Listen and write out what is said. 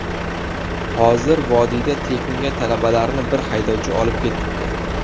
Hozir vodiyga tekinga talabalarni bir haydovchi olib ketibdi.